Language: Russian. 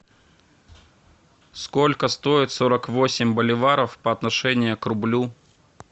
сколько стоит сорок восемь боливаров по отношению к рублю